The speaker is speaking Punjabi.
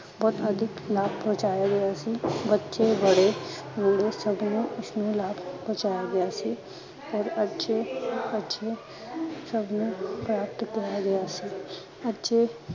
ਬਹੁਤ ਅਧਿਕ ਲਾਬ ਪਹੁੰਚਾਇਆ ਗਿਆ ਸੀ, ਬਚੇ ਬੁੜੇ ਸਬ ਲੋਗ ਏਸਮੇ ਲਾਗ ਰਹੇ ਸੀ ਪਹੁੰਚਿਆ ਗਿਆ ਸੀ ਫਿਰ ਬਚੇ ਆਤੇ ਸਭ ਨੂੰ ਪ੍ਰਾਪਤ ਕਰਾਇਆ ਗਿਆ ਸੀ ਅਤੇ